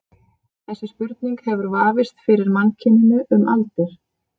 Þessi spurning hefur vafist fyrir mannkyninu um aldir.